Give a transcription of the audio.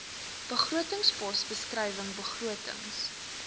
begrotingspos beskrywing begrotings